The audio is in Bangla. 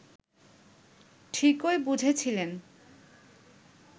ঠিকই বুঝেছিলেন